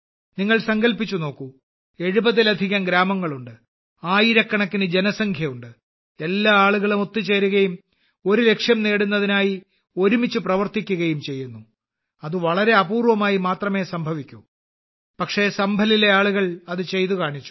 നിങ്ങൾ സങ്കൽപ്പിച്ചു നോക്കു 70ലധികം ഗ്രാമങ്ങളുണ്ട് ആയിരക്കണക്കിന് ജനസംഖ്യയുണ്ട് എല്ലാ ആളുകളും ഒത്തുചേരുകയും ഒരു ലക്ഷ്യം നേടുന്നതിനായി ഒരുമിച്ചു പ്രവർത്തിക്കുകയും ചെയ്യുന്നു അത് വളരെ അപൂർവമായി മാത്രമേ സംഭവിക്കൂ പക്ഷേ സംഭലിലെ ആളുകൾ അത് ചെയ്തു കാണിച്ചു